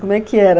Como é que era?